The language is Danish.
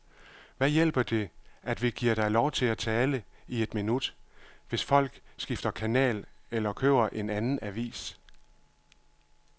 Hvad hjælper det, at vi giver dig lov til at tale i et minut, hvis folk skifter kanal eller køber en anden avis.